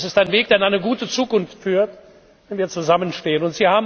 Das ist ein Weg, der in eine gute Zukunft führt, wenn wir zusammenstehen.